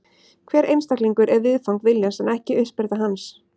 Hver einstaklingur er viðfang viljans en ekki uppspretta hans.